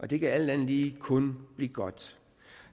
det kan alt andet lige kun blive godt